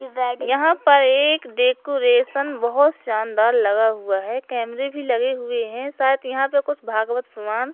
यहां पर एक डेकोरेशन बहोत शानदार लगा हुआ है कैमरे भी लगे हुए है शायद यहां पे कुछ भागवत पुराण--